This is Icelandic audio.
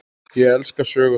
Ég elska sögur þess.